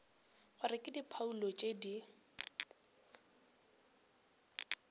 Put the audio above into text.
gore ke diphoulo tše di